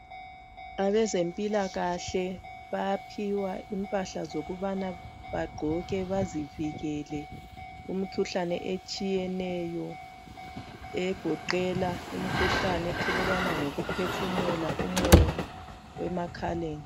abezempilakahle bayaphiwa imphahlazokubana bagqoke bazivikele imikhuhlane etshiyeneyo egoqelwa imikhuhlaneni ethelelwana ngokuphefumulelana umoya emakhaleni